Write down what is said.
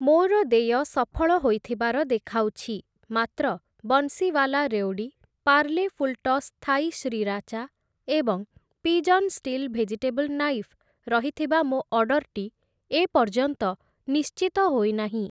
ମୋର ଦେୟ ସଫଳ ହୋଇଥିବାର ଦେଖାଉଛି, ମାତ୍ର Bansiwala revdi, Parle full toss Thai sriracha ଏବଂ ପିଜନ୍ ଷ୍ଟୀଲ୍ ଭେଜିଟେବଲ୍‌ ନାଇଫ୍‌ ରହିଥିବା ମୋ ଅର୍ଡ଼ର୍‌ଟି ଏପର୍ଯ୍ୟନ୍ତ ନିଶ୍ଚିତ ହୋଇନାହିଁ ।